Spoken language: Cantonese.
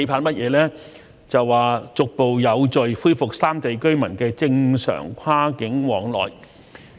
便是逐步有序地恢復三地居民的正常跨境往來。